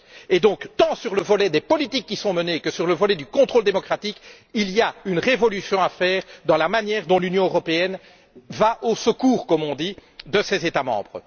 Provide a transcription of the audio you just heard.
Par conséquent, tant pour ce qui est des politiques qui sont menées que pour ce qui est du contrôle démocratique, il y a une révolution à faire dans la manière dont l'Union européenne va au secours, comme on dit, de ses États membres.